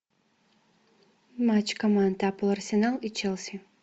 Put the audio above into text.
матч команд апл арсенал и челси